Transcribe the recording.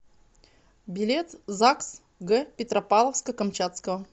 билет загс г петропавловска камчатского